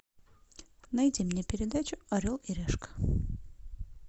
найди мне передачу орел и решка